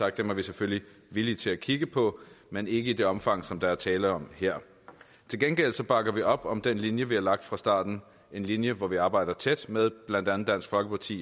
at dem er vi selvfølgelig villige til at kigge på men ikke i det omfang som der er tale om her til gengæld bakker vi op om den linje vi har lagt fra starten en linje hvor vi arbejder tæt med blandt andet dansk folkeparti